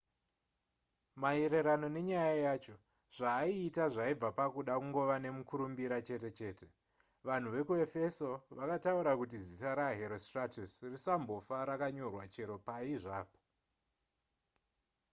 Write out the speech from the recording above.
maererano nenyaya yacho zvaaiita zvaibva pakuda kungova nemukurumbira chete chete vanhu vekuefeso vakataura kuti zita raherostratus risambofa rakanyorwa chero pai zvapo